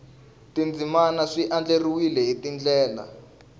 tindzimana swi andlariwile hi ndlela